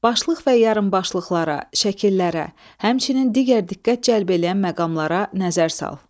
Başlıq və yarıbaşlıqlara, şəkillərə, həmçinin digər diqqət cəlb eləyən məqamlara nəzər sal.